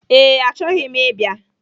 Ee, achọghị m ịbịa